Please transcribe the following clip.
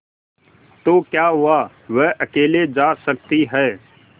तो क्या हुआवह अकेले जा सकती है